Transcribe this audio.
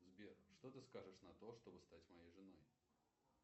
сбер что ты скажешь на то чтобы стать моей женой